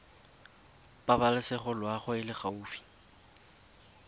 pabalesego loago e e gaufi